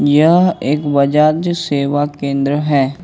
यह एक बजाज सेवा केंद्र है।